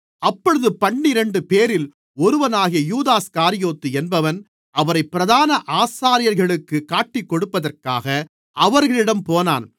அப்பொழுது பன்னிரண்டுபேரில் ஒருவனாகிய யூதாஸ்காரியோத்து என்பவன் அவரைப் பிரதான ஆசாரியர்களுக்குக் காட்டிக்கொடுப்பதற்காக அவர்களிடம் போனான்